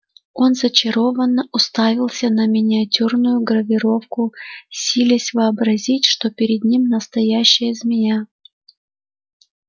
он зачарованно уставился на миниатюрную гравировку силясь вообразить что перед ним настоящая змея